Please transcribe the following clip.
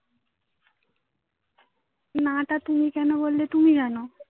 না টা তুমি কেন বললে তুমি জানো?